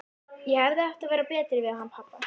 Ég hefði átt að vera betri við hann pabba.